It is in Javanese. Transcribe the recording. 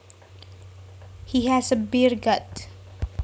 He has a beer gut